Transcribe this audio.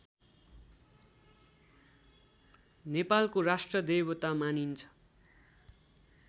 नेपालको राष्ट्रदेवता मानिन्छ